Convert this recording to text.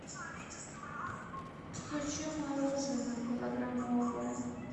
хочу мороженное килограммовое